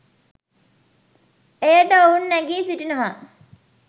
එයට ඔවුන් නැඟී සිටිනවා.